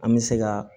An bɛ se ka